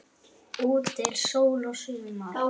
Úti er sól og sumar.